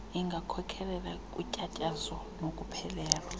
ingakhokhelela kutyatyazo nokuphelelwa